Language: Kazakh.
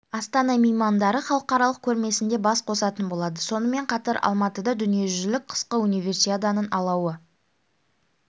астана меймандары халықаралық көрмесінде бас қосатын болады сонымен қатар алматыда дүние жүзілік қысқы универсиаданың алауы